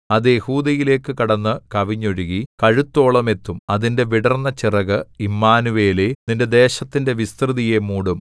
അത് യെഹൂദായിലേക്കു കടന്നു കവിഞ്ഞൊഴുകി കഴുത്തോളം എത്തും അതിന്റെ വിടർന്ന ചിറക് ഇമ്മാനൂവേലേ നിന്റെ ദേശത്തിന്റെ വിസ്‌തൃതിയെ മൂടും